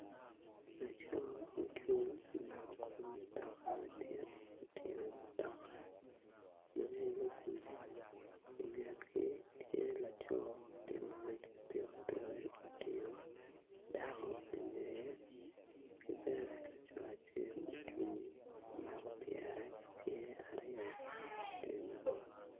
Laco ocung omako kom mutuka madit mutingo mutoka madit ma ngino gudi ingetgi tye laco ma tye ka ngwec ki pikipiki otingo dako ingeye ki bene laco acel ocung omako pyere ki cinge aryo iteng yo